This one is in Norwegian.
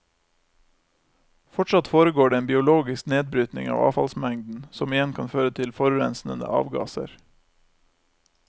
Fortsatt foregår det en biologisk nedbrytning av avfallsmengden, som igjen kan føre til forurensende avgasser.